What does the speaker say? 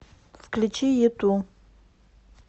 включи юту